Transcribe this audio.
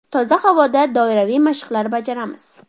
Toza havoda doiraviy mashqlar bajaramiz .